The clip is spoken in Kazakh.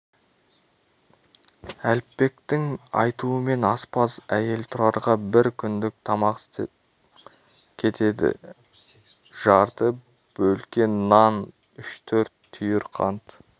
әліпбектің айтуымен аспаз әйел тұрарға бір күндік тамақ тастап кетеді жарты бөлке нан үш-төрт түйір қант